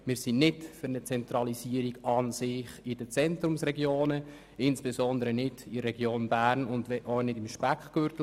Wir sind nicht für eine Konzentration in den Zentrumsregionen, insbesondere nicht in der Stadt Bern und ihrem Speckgürtel.